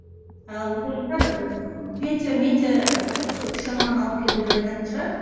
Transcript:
ал ыыы петя метя ы сол үш алманы алып келді деп айтатын шығар